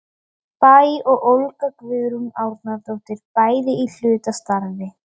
Bæ og Olga Guðrún Árnadóttir, bæði í hlutastarfi.